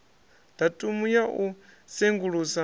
datumu ya u sengulusa u